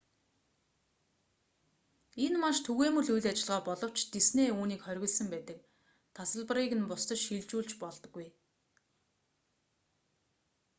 энэ маш түгээмэл үйл ажиллагаа боловч дисней үүнийг хориглосон байдаг тасалбарыг нь бусдад шилжүүлж болдоггүй